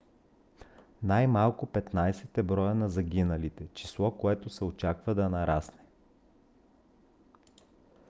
най - малко 15 е броят на загиналите. число което се очаква да нарасне